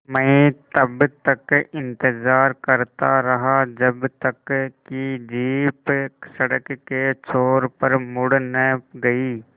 मैं तब तक इंतज़ार करता रहा जब तक कि जीप सड़क के छोर पर मुड़ न गई